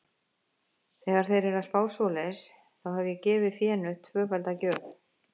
Þegar þeir eru að spá svoleiðis, þá hef ég gefið fénu tvöfalda gjöf.